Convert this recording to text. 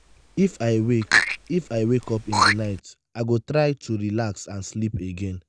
if i wake if i wake up in the night i go try to relax and sleep again.